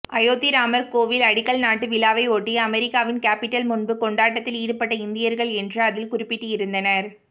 அயோத்தி ராமர் கோவில் அடிக்கல் நாட்டு விழாவையொட்டி அமெரிக்காவின் கேபிட்டல் முன்பு கொண்டாட்டத்தில் ஈடுபட்ட இந்தியர்கள் என்று அதில் குறிப்பிட்டிருந்தனர்